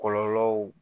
Kɔlɔlɔw